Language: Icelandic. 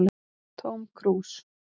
Tóm krús